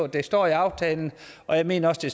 det står i aftalen og jeg mener at det